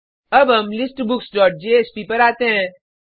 अब हम listbooksजेएसपी पर आते हैं